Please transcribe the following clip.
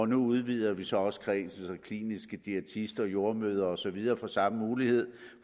nu udvider vi så også kredsen så kliniske diætister jordemødre og så videre får samme mulighed